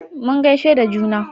mun gaishe da juna